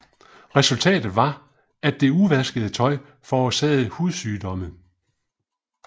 Resultatet var at det uvaskede tøj forårsagede hudsygdomme